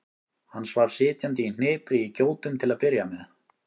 Hann svaf sitjandi í hnipri í gjótum til að byrja með.